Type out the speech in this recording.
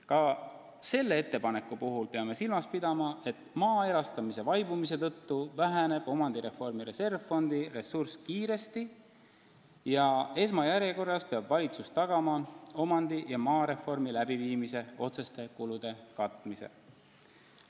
Ka selle ettepaneku puhul peame silmas pidama, et maa erastamise vaibumise tõttu väheneb omandireformi reservfondi ressurss kiiresti ning esmajärjekorras peab valitsus tagama omandi- ja maareformi läbiviimise otseste kulude katmise.